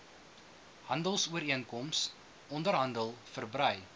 handelsooreenkoms onderhandel verbrei